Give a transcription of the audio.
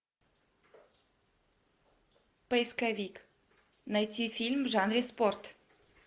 поисковик найти фильм в жанре спорт